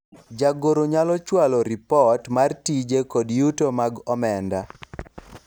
jagoro nyalo chwalo ripot mar tije kod yuto mag omenda